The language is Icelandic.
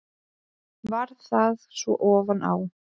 Varð það svo ofan á.